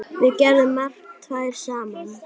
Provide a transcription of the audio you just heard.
Við gerðum margt tvær saman.